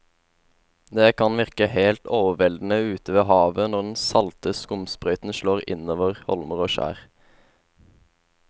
Det kan virke helt overveldende ute ved havet når den salte skumsprøyten slår innover holmer og skjær.